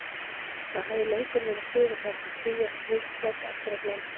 Það hafði löngum verið siður hans að skilja slík plögg eftir á glámbekk.